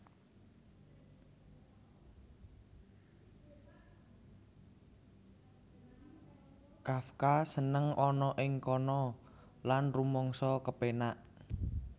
Kafka seneng ana ing kana lan rumangsa kepénak